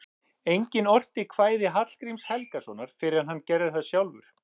Enginn orti kvæði Hallgríms Helgasonar fyrr en hann gerði það sjálfur.